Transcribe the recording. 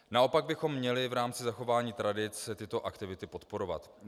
Naopak bychom měli v rámci zachování tradic tyto aktivity podporovat.